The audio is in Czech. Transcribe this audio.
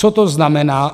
Co to znamená?